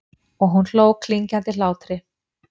Og hún hló klingjandi hlátri.